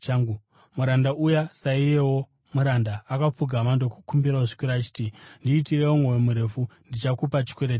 “Muranda uya saiyewo muranda akapfugama ndokumukumbira zvikuru achiti, ‘Ndiitirewo mwoyo murefu, ndichakupa chikwereti chako.’